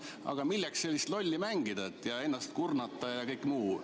Aga miks sellist lolli mängida ja ennast kurnata?